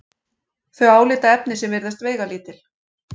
þau álitaefni sem virðast veigalítil.